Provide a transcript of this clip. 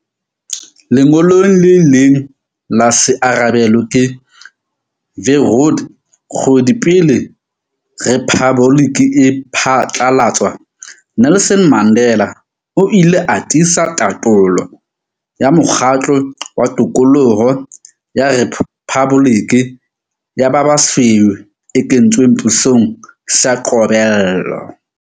Lengolong le ileng la se arabelwe ke Verwoerd kgwedi pele rephaboliki e phatlalatswa, Nelson Mandela o ile a tiisa tatolo ya mokgatlo wa tokoloho ya rephaboliki ya ba basweu e kentsweng pusong ka qobello.